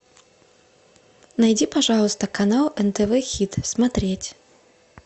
найди пожалуйста канал нтв хит смотреть